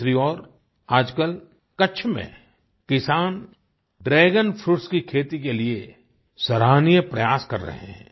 दूसरी ओर आजकल कच्छ में किसान ड्रैगन फ्रूट्स की खेती के लिए सराहनीय प्रयास कर रहे हैं